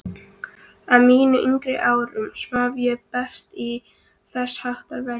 Á mínum yngri árum svaf ég best í þessháttar veðri.